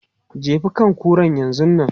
Jefi kan kuran yanzun nan!